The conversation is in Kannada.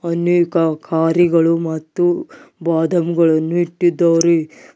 ಅನೇಕ ಕಾರಿಗಳು ಮತ್ತು ಬಾದಂಗಳನ್ನು ಇಟ್ಟಿದ್ದಾರೆ.